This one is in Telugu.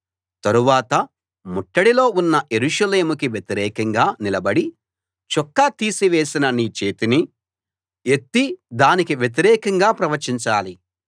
తరువాత ముట్టడిలో ఉన్న యెరూషలేముకి వ్యతిరేకంగా నిలబడి చొక్కా తీసివేసిన నీ చేతిని ఎత్తి దానికి వ్యతిరేకంగా ప్రవచించాలి